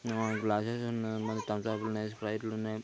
నోయ్ glasses ఉన్నాయి మల్లి థంసప్లున్నాయ్ స్ప్రైట్లున్నాయి.